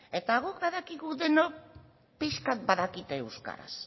eta guk badakigu denok pixka badakite euskaraz